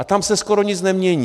A tam se skoro nic nemění.